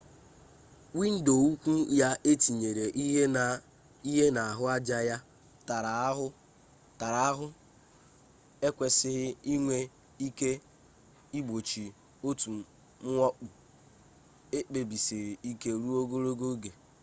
windo ukwu ya e tere ihe na ahụaja ya tara ahụ ekwesịghị inwe ike igbochi otu mwakpo ekpebisiri ike ruo ogologo oge